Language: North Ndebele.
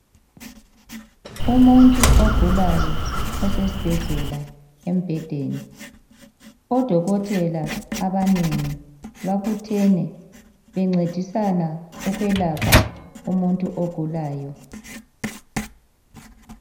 Umuntu ogulayo osesibhedlela embhedeni odokotela abanengi babuthene bencedisana ukwelapha umuntu ogulayo.